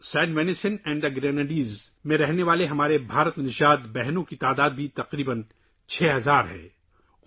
Saint Vincent اور Grenadines میں رہنے والے ہندوستانی نژاد ہمارے بہن بھائیوں کی تعداد بھی چھ ہزار کے لگ بھگ ہے